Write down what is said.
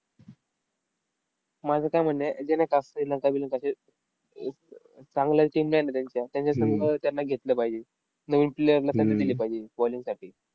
माझं काय म्हणणं आहे, ते नाही का श्रीलंका, बिलंका असे अ चांगल्या team जे आहेत ना त्यांच्या, त्यांच्या त्यांना घेतलं पाहिजे. नवीन player ना संधी दिली पाहिजे bowling साठी.